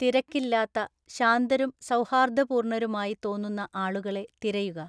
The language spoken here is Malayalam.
തിരക്കില്ലാത്ത, ശാന്തരും സൗഹാര്‍ദ്ദപൂര്‍ണരുമായി തോന്നുന്ന ആളുകളെ തിരയുക.